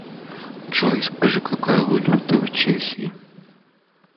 джой скажи какая валюта в чехии